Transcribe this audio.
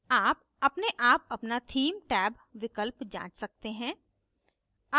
आप अपने आप अपना theme टैब विकल्प जाँच सकते हैं